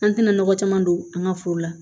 An tɛna nɔgɔ caman don an ka foro la